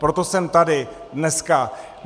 Proto jsem tady dneska.